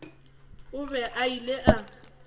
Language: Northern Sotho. o be a ile a